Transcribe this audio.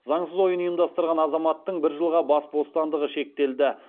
заңсыз ойын ұйымдастырған азаматтың бір жылға бас бостандығы шектелді